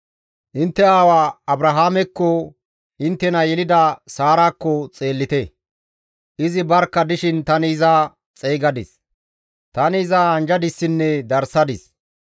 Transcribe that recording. Intte aawa Abrahaamekko, inttena yelida Saarakko xeellite. Izi barkka dishin tani iza xeygadis; tani iza anjjadissinne darssadis.